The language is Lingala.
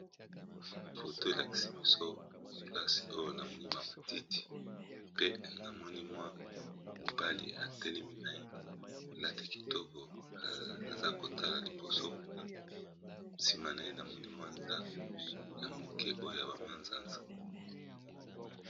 Foto elakisi biso place oyo namoni ba matiti, pe na moni mwa mobali atelemi na ye alati kitoko aza kotala liboso nsima na ye namoni mwa ndako ya moke oyo ya ba manzanza.